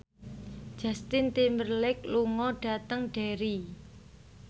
Justin Timberlake lunga dhateng Derry